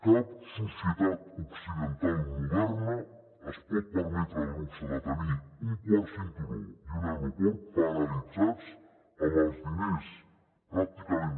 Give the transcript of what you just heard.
cap societat occidental moderna es pot permetre el luxe de tenir un quart cinturó i un aeroport paralitzats amb els diners pràcticament